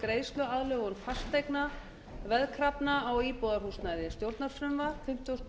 virðulegi forseti ég mæli fyrir frumvarpi til laga um